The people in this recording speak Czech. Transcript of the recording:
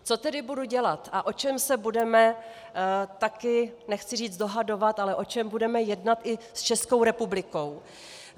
Co tedy budu dělat a o čem se budeme taky - nechci říct dohadovat, ale o čem budeme jednat i s Českou republikou?